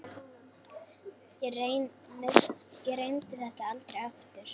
Ég reyndi þetta aldrei aftur.